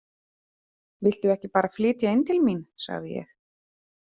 Viltu ekki bara flytja inn til mín, sagði ég?